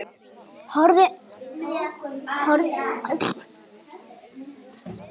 Horfði nú á húsið.